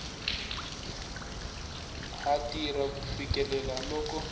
ha tirha ku fikela loko